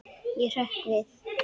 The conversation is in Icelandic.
Ég hrökk við.